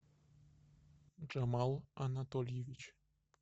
джамал анатольевич